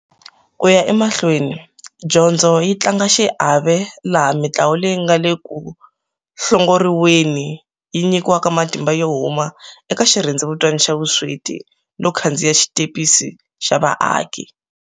Ku ya emahlweni, dyondzo yi tlanga xiave laha mintlawa leyi nga le ku hlongoriweni yi nyikiwaka matimba yo huma eka xirhendzevutani xa vusweti no khandziya xitepisi xa vaaki.